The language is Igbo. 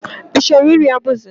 I chọrọ iri abụzị?